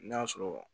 N'a sɔrɔ